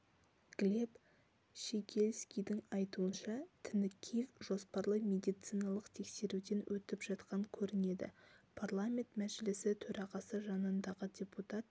глеб щегельскийдің айтуынша тінікеев жоспарлы медициналық тексеруден өтіп жатқан көрінеді парламент мәжілісі төрағасы жанындағы депутат